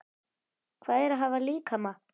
Hvað er að hafa líkama?